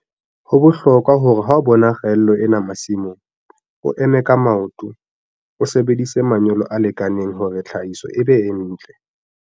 Ho bohlokwa hore ha o bona kgaello ena masimong, o eme ka maoto, o sebedise manyolo a lekaneng hore tlhahiso e be e ntle.